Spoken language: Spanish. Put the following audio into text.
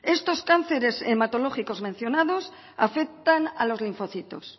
estos cánceres hematológicos mencionados afectan a los linfocitos